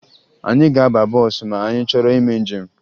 Anyị ga-aba bọọsụ ma anyị chọrọ ime njem